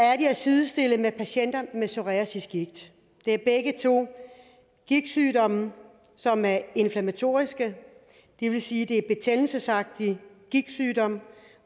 at sidestille med patienter med psoriasisgigt begge er gigtsygdomme som er inflammatoriske det vil sige at det er betændelsesagtige gigtsygdomme